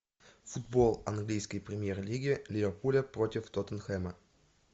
футбол английской премьер лиги ливерпуля против тоттенхэма